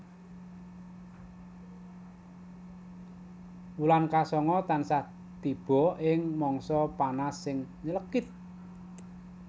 Wulan ka sanga tansah tiba ing mangsa panas sing nylekit